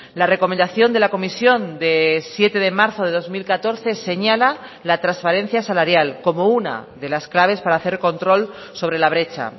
la recomendación de la comisión de siete de marzo de dos mil catorce señala la transparencia salarial como una de las claves para hacer control sobre la brecha